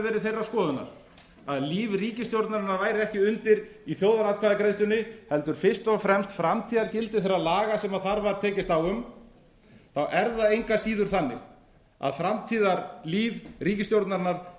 þeirrar skoðunar að líf ríkisstjórnarinnar væri ekki undir í þjóðaratkvæðagreiðslunni heldur fyrst og fremst framtíðargildi þeirra laga sem þar var tekist á um er það engu að síður þannig að framtíðarlíf ríkisstjórnarinnar